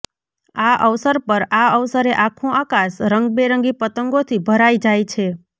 આ અવસર પર આ અવસરે આખું આકાશ રંગબેરંગી પતંગોથી ભરાય જાય છે